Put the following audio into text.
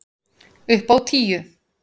Upp á tíu!